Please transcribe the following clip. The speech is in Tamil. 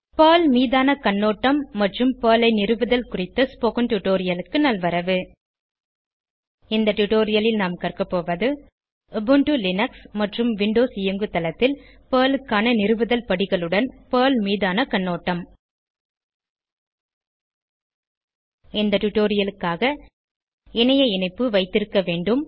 பெர்ல் மீதான கண்ணோட்டம் மற்றும் பெர்ல் ஐ நிறுவுதல் குறித்த ஸ்போகன் டுடோரியலுக்கு நல்வரவு இந்த டுடோரியலில் நாம் கற்கப்போவது உபுண்டு லினக்ஸ் மற்றும் விண்டோஸ் இயங்குதளத்தில் பெர்ல் க்கான நிறுவுதல் படிகளுடன் பெர்ல் மீதான கண்ணோட்டம் இந்த டுடோரியலுக்காக இணைய இணைப்பு வைத்திருக்க வேண்டும்